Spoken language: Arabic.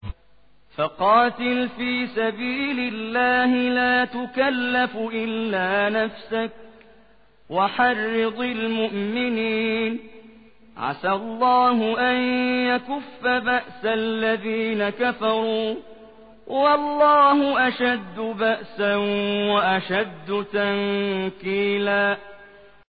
فَقَاتِلْ فِي سَبِيلِ اللَّهِ لَا تُكَلَّفُ إِلَّا نَفْسَكَ ۚ وَحَرِّضِ الْمُؤْمِنِينَ ۖ عَسَى اللَّهُ أَن يَكُفَّ بَأْسَ الَّذِينَ كَفَرُوا ۚ وَاللَّهُ أَشَدُّ بَأْسًا وَأَشَدُّ تَنكِيلًا